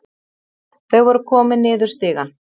Þau voru komin niður stigann.